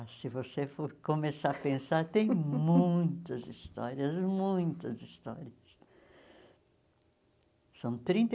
Ah, se você for começar a pensar, tem muitas histórias, muitas histórias. São trinta